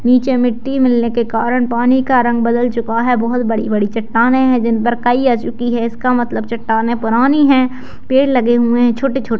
नीचे मिट्टी मिलने के कारण पानी का रंग बदल चुका है बहुत बड़ी-बड़ी चट्टानें है जिनपर काई आ चुकी है इसका मतलब चट्टानें परानी है पेड़ लगे हुए है छोटे-छोटे